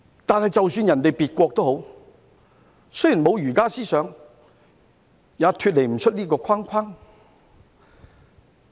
但是，即使別國沒有儒家思想，也脫離不了這個框框。